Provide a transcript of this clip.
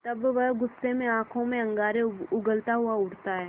तब वह गुस्से में आँखों से अंगारे उगलता हुआ उठता है